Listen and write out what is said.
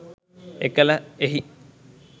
එකල එහි